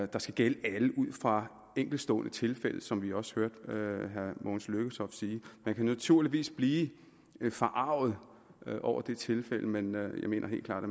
der skal gælde alle ud fra enkeltstående tilfælde som vi også hørte herre mogens lykketoft sige man kan naturligvis blive forarget over det tilfælde men jeg mener helt klart at